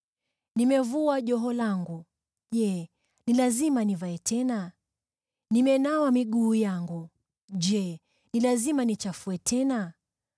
Nimevua joho langu: je, ni lazima nivae tena? Nimenawa miguu yangu: je, ni lazima niichafue tena?